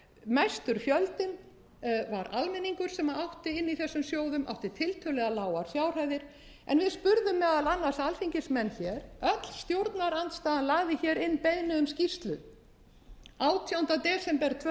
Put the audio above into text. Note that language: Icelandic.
mestur fjöldinn var almenningur sem átti inni í þessum sjóðum átti tiltölulega lágar fjárhæðir en við spurðum meðal annars alþingismenn öll stjórnarandstaðan lagði inn beiðni um skýrslu átjánda desember tvö